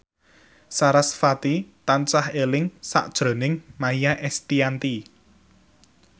sarasvati tansah eling sakjroning Maia Estianty